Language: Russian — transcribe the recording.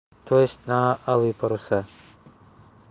то есть на алые паруса